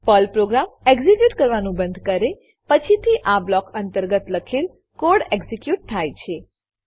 Perl program execute કરવાનું બંધ કરે પછીથી આ બ્લોક અંતર્ગત લખેલ કોડ એક્ઝીક્યુટ થાય છે